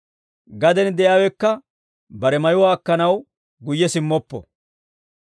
Gaden de'iyaawekka bare mayuwaa akkanaw guyye simmoppo.